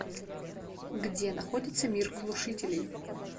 где находится мир глушителей